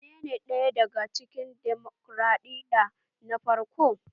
Menene ɗaya daga cikin demokraɗiyya na farko?